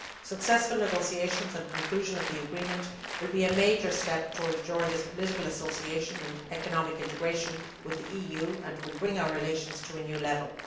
Successful negotiations and conclusion of the agreement will be a major step towards Georgia's political association and economic integration with the EU and will bring our relations to a new level.